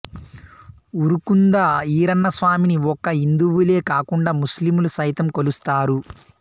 ఉరుకుంద ఈరన్నస్వామిని ఒక్క హిందూవులే కాకుండా ముస్లింలు సైతం కొలుస్తారు